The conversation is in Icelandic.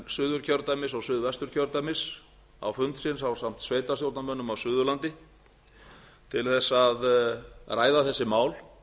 suðurkjördæmis og suðvesturkjördæmis á fund sinn ásamt sveitarstjórnarmönnum á suðurlandi til þess að ræða þessi mál